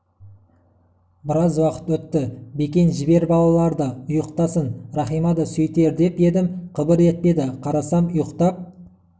біраз уақыт өтті бекен жібер балаларды ұйықтасын рахима да сөйтер деп едім қыбыр етпеді қарасам ұйықтап